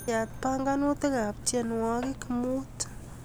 Yaat banganutikab tiewogik mutu